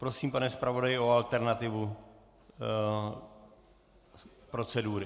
Prosím, pane zpravodaji, o alternativu procedury.